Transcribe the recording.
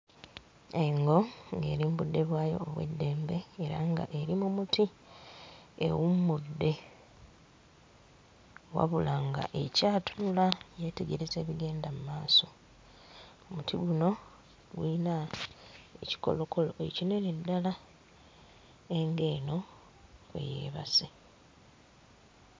Engo ng'eri mu budde bwayo obw'eddembe era ng'eri mu muti ewummudde, wabula nga ekyatunula yeetegereza bigenda mmaaso. Omuti guno guyina ekikolokolo ekinene ddala engo eno kwe yeebase.